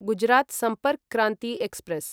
Gujarat Sampark Kranti express